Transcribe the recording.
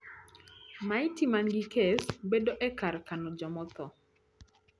maiti man gi kes bedo e kar kano jomaotho